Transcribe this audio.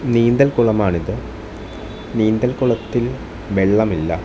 നീന്തൽ കുളമാണിത് നീന്തൽകുളത്തിൽ വെള്ളമില്ല.